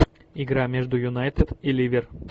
игра между юнайтед и ливер